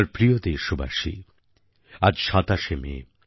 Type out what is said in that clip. আমার প্রিয় দেশবাসী আজ ২৭শে মে